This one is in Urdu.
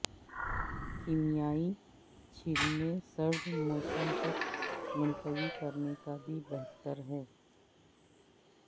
کیمیائی چھیلنے سرد موسم تک ملتوی کرنے کا بھی بہتر ہے